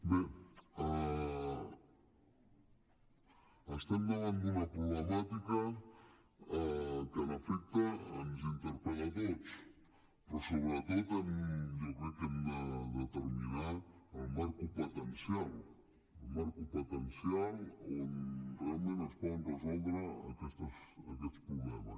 bé estem davant d’una problemàtica que en efecte ens interpel·la a tots però sobretot jo crec que hem de determinar el marc competencial el marc competencial on realment es poden resoldre aquests problemes